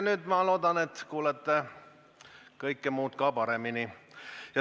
Nüüd ma loodan, et kuulete kõike muud ka paremini.